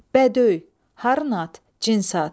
Bədöy, harın at, cins at.